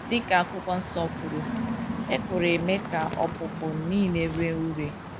Dị ka akwụkwo nsọ kwuru, ekworo eme ka ọkpụkpụ nile ree ụre